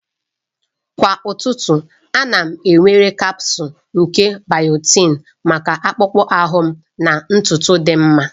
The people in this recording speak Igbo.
Kwa ụtụtụ, ana m ewere kapsul nke biotin maka akpụkpọ ahụ na ntutu dị mma.